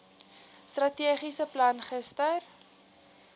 strategiese plan gister